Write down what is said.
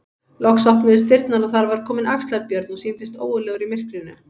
Loks opnuðust dyrnar og var þar kominn Axlar-Björn og sýndist ógurlegur í myrkrinu.